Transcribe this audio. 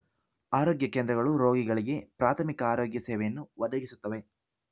ಆರೋಗ್ಯ ಕೇಂದ್ರಗಳು ರೋಗಿಗಳಿಗೆ ಪ್ರಾಥಮಿಕ ಆರೋಗ್ಯ ಸೇವೆಯನ್ನು ಒದಗಿಸುತ್ತವೆ